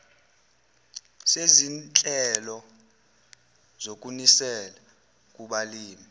sezinhlelo zokunisela kubalimi